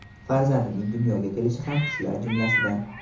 Farzandining dunyoga kelishi ham shular jumlasidan.